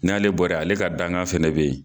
N'ale bɔra ale ka dankan fɛnɛ bɛ ye.